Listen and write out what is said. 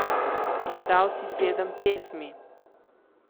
Izdal si sedem pesmi.